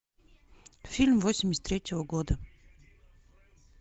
фильм восемьдесят третьего года